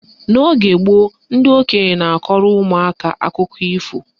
N'oge gboo, ndị okenye na-akọrọ ụmụaka akụkọ ifo